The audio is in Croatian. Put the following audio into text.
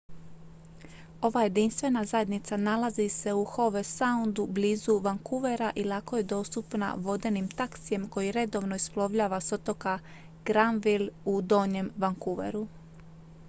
ova jedinstvena zajednica nalazi se u howe soundu blizu vancouvera i lako je dostupna vodenim taksijem koji redovno isplovljava s otoka granville u donjem vancouveru